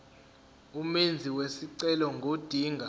umenzi wesicelo ngodinga